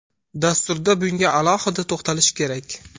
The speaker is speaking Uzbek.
Dasturda bunga alohida to‘xtalish kerak.